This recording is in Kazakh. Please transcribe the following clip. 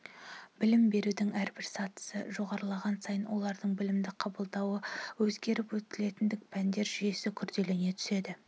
білім берудің әрбір сатысы жоғарылаған сайын олардың білімді қабылдауы өзгеріп өтілетін пәндер жүйесі күрделене түседі